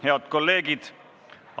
Head kolleegid!